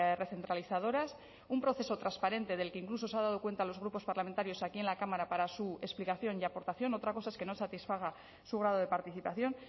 recentralizadoras un proceso transparente del que incluso se ha dado cuenta a los grupos parlamentarios aquí en la cámara para su explicación y aportación otra cosa es que no satisfaga su grado de participación